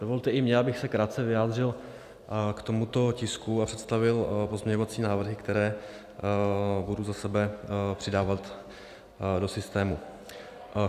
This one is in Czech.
Dovolte i mně, abych se krátce vyjádřil k tomuto tisku a představil pozměňovací návrhy, které budu za sebe přidávat do systému.